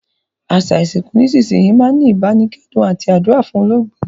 Àsà ìsinkù nísinsìnyi máa n ni ìbánikẹ́dùn àti àdúrà fún olóògbé